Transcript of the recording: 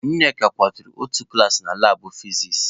Nneka kụwara otu glaasị na labụ fizis.